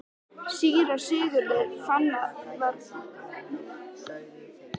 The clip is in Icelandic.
Síra Sigurður fann að honum var hrollkalt af hugarangri.